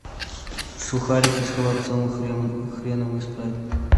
сухарики с холодцом и хреном и спрайт